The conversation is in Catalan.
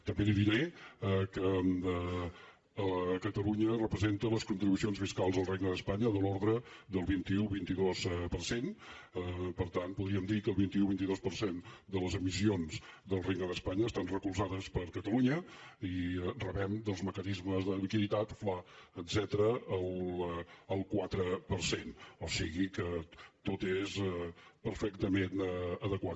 també li diré que catalunya representa les contribucions fiscals al regne d’espanya de l’ordre del vint un vint dos per cent per tant podríem dir que el vint un vint dos per cent de les emissions del regne d’espanya estan recolzades per catalunya i rebem dels mecanismes de liquiditat fla etcètera el quatre per cent o sigui que tot és perfectament adequat